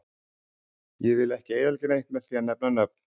Ég vill ekki eyðileggja neitt með því að nefna nöfn.